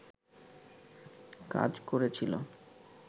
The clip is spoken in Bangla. কাজ করেছিল